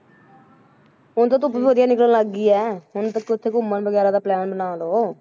ਹੁਣ ਤੇ ਧੁੱਪ ਵੀ ਵਧੀਆ ਲੱਗਣ ਲੱਗ ਗਈ ਹੈ, ਹੁਣ ਤਾਂ ਕਿਤੇ ਘੁੰਮਣ ਵਗ਼ੈਰਾ ਦਾ plan ਬਣਾ ਲਓ।